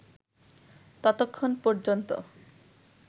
ততক্ষণ পর্যন্ত